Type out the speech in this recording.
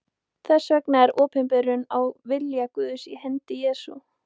Þess vegna er opinberunin á vilja Guðs í hendi Jesú.